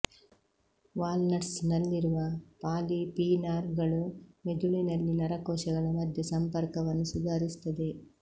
wall nuts ನಲ್ಲಿರುವ polyphenol ಗಳು ಮೆದುಳಿನಲ್ಲಿ ನರಕೋಶಗಳ ಮಧ್ಯೆ ಸಂಪರ್ಕವನ್ನು ಸುಧಾರಿಸುತ್ತದೆ